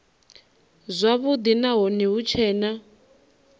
zwavhudi nahone hu tshee na